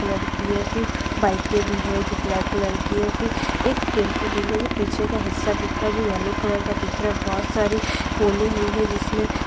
colour की है फिर बाइक भी है जो ब्लैक कलर फिर एक टैम्पो दिख रहे है पीछे का हिस्सा दिख रहा है येलो कलर का दिख रहा है बहुत सारी पोले हुई है जिसमे --